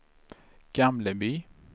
Gamleby